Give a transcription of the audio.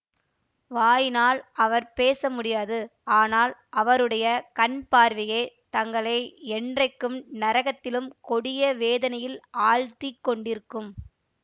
வாயினால் அவர் பேச முடியாது ஆனால் அவருடைய கண் பார்வையே தங்களை என்றைக்கும் நரகத்திலும் கொடிய வேதனையில் ஆழ்த்திக் கொண்டிருக்கும்